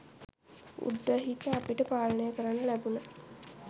උඩුහිත අපට පාලනය කරන්න ලැබුන